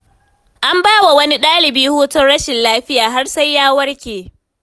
An bawa wani ɗalibi hutun rashin lafiya har sai ya warke.